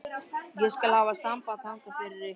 Ég skal hafa samband þangað fyrir ykkur.